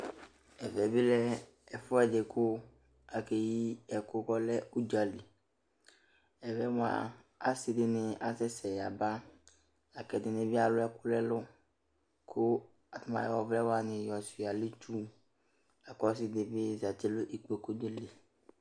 Ɛvɛ bɩ lɛ ɛfʋɛdɩ kʋ akeyi ɛkʋ kʋ ɔlɛ ʋdzaliƐvɛ mʋa, asɩdɩnɩ asɛsɛ yaba, la kʋ ɛdɩnɩ bɩ alʋ ɛkʋ nʋ ɛlʋ ; kʋ aƴɔ ɔvlɛ wanɩ yɔ sʋɩa n'itsuLa kʋ ɔsɩ dɩ bɩ zati n' ikpoku li